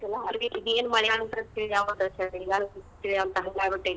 .